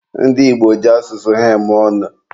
ndị Igbo ji asụsụ ha eme ọnụ